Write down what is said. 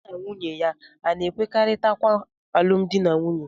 Ya na nwunye ya a na-ekwekọrịta nkwa alụmdi na nwunye.